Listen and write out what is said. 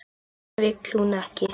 Þetta vill hún ekki.